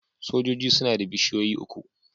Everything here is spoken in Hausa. Sojoji suna da bishiyoyi uku.